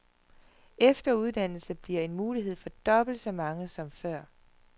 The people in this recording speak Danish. Efteruddannelse bliver en mulighed for dobbelt så mange som før.